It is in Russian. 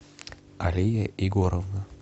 алия егоровна